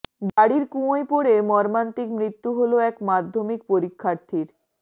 বাড়ির কুয়োয় পড়ে মর্মান্তিক মৃত্যু হল এক মাধ্যমিক পরীক্ষার্থীর